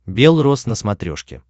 бел рос на смотрешке